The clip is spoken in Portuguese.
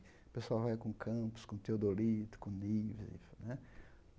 Pessoal vai com campos, com teodolito, com níveis enfim né.